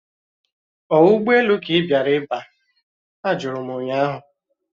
Ọ ụgbọelu ka ị bịara iba? Ajụrụ m ụnyaahụ